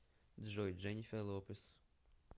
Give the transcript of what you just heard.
джой дженифер лопес